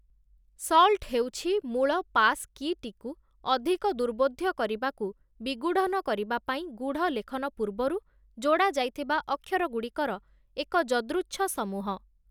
Salt ହେଉଛି ମୂଳ passkey ଟିକୁ ଅଧିକ ଦୁର୍ବୋଧ୍ୟ କରିବାକୁ ବିଗୂଢ଼ନ କରିବା ପାଇଁ ଗୂଢ଼ଲେଖନ ପୂର୍ବରୁ ଯୋଡ଼ା ଯାଇଥିବା ଅକ୍ଷରଗୁଡ଼ିକର ଏକ ଯଦୃଚ୍ଛ ସମୂହ ।